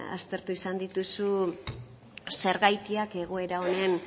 aztertu izan dituzu zergatiak egoera honen